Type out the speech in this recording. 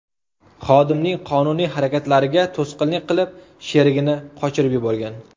xodimning qonuniy harakatlariga to‘sqinlik qilib, sherigini qochirib yuborgan.